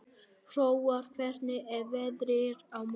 Hróar, hvernig er veðrið á morgun?